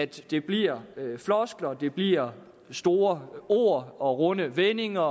det bliver floskler det bliver store ord og runde vendinger